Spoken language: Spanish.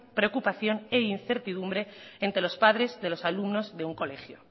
preocupación e incertidumbre entre los padres de los alumnos de un colegio